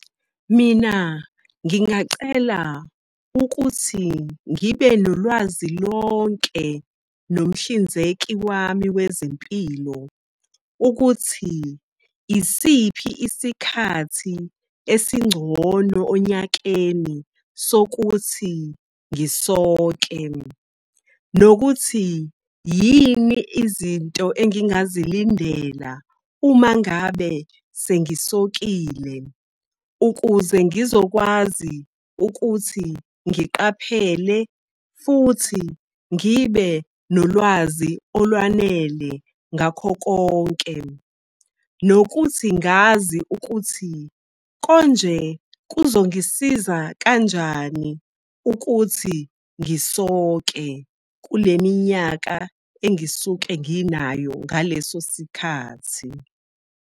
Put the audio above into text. Mina ngingacela ukuthi ngibe nolwazi lonke nomhlinzeki wami wezempilo ukuthi isiphi isikhathi esingcono onyakeni sokuthi ngisoke, nokuthi yini izinto engingazilindela uma ngabe sengisokile ukuze ngizokwazi ukuthi ngiqaphele futhi ngibe nolwazi olwanele ngakho konke. Nokuthi ngazi ukuthi konje kuzongisiza kanjani ukuthi ngisoke kule minyaka engisuke nginayo ngaleso sikhathi.